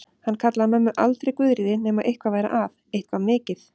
Hann kallaði mömmu aldrei Guðríði nema eitthvað væri að, eitthvað mikið.